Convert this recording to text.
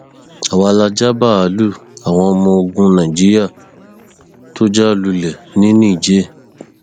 àwa la ja báàlúù àwọn ọmọ ogun nàìjíríà tó já lulẹ ní niger